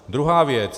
Druhá věc.